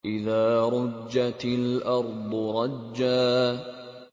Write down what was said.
إِذَا رُجَّتِ الْأَرْضُ رَجًّا